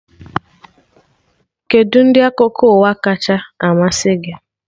Kedụ ndị akụkọ ụwa kacha amasị gị?